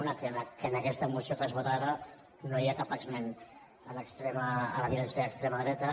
una que en aquesta moció que es vota ara no hi ha cap esment de la violència d’extrema dreta